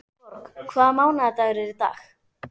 Borg, hvaða mánaðardagur er í dag?